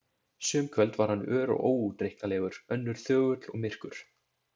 Sum kvöld var hann ör og óútreiknanlegur, önnur þögull og myrkur.